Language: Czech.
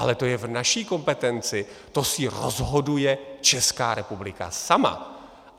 Ale to je v naší kompetenci, to si rozhoduje Česká republika sama!